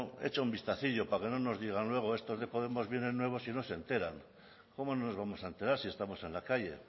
eché un vistacillo para que no nos digan luego estos de podemos vienen nuevos y no se enteran cómo no nos vamos a enterar si estamos en la calle